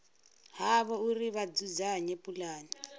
havho uri vha dzudzanye pulane